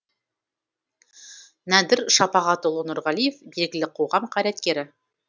нәдір шапағатұлы нұрғалиев белгілі қоғам қайраткері